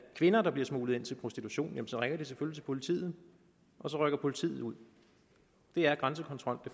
kvinder der bliver smuglet ind til prostitution så ringer de selvfølgelig til politiet og så rykker politiet ud det er grænsekontrol